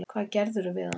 Hvað gerðirðu við hann!